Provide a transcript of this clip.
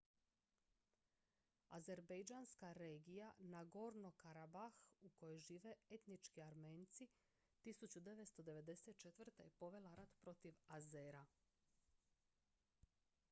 azerbejdžanska regija nagorno-karabah u kojoj žive etnički armenci 1994. je povela rat protiv azera